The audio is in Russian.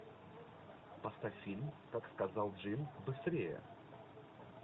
поставь фильм как сказал джим быстрее